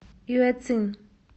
юэцин